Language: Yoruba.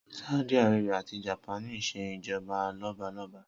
Sáúdí arábíà ati Japaní ńṣe ìjọba lọ́balọ́ba